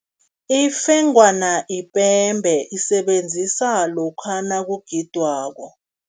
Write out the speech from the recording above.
Ifengwana ipembe, isebenziswa lokha nakugidwako.